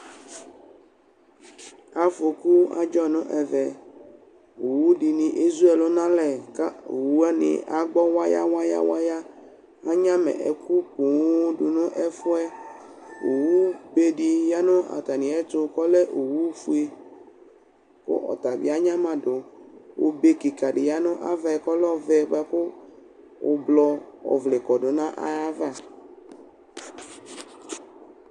Afoku adzɔ nʋ ɛvɛ Owʋ dɩnɩ ezu ɛlʋ nʋ alɛ kʋ owʋ wanɩ agbɔ waya waya waya Anyama ɛkʋ poo dʋ nʋ ɛfʋ yɛ Owʋbe dɩ ya nʋ atamɩ ɛtʋ kʋ ɔlɛ owʋfʋe, kʋ ɔta bɩ anyama dʋ Obe kɩka dɩ ya nʋ ava yɛ kʋ ɔlɛ ʋblɔ bʋakʋ ʋblɔ ɔvle kɔdʋ nʋ ayʋ ava